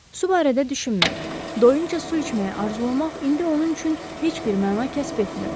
Su barədə düşünmək, doyunca su içməyi arzulamaq indi onun üçün heç bir məna kəsb etmirdi.